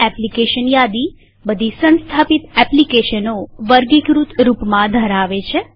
application યાદી બધી સંસ્થાપિત એપ્લીકેશનોને વર્ગીકૃત રૂપમાં ધરાવે છે